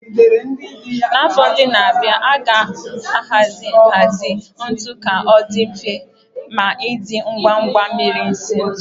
Na afọ ndị na-abịa, a ga-ahazi nhazi ntu ka ọ dị mfe ma dị ngwa ngwa imiri isi ntu